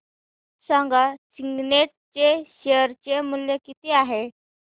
सांगा सिग्नेट चे शेअर चे मूल्य किती आहे